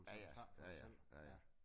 Ja ja. Ja ja. Ja ja